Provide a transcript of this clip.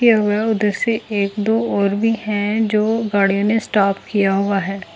हुआ है उधर से एक दो और भी है जो गाड़ियों ने स्टॉप किया हुआ हे।